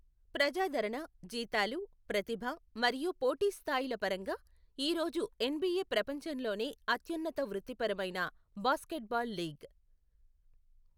ప్రజాదరణ, జీతాలు, ప్రతిభ, మరియు పోటీ స్థాయిల పరంగా, ఈ రోజు ఎన్బిఎ ప్రపంచంలోనే అత్యున్నత వృత్తిపరమైన బాస్కెట్బాల్ లీగ్.